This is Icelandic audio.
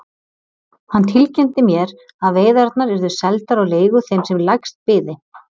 Hann tilkynnti mér að veiðarnar yrðu seldar á leigu þeim sem lægst byði.